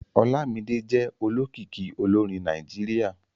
Olámídé jẹ́ olókìkí olórin Nàìjíríà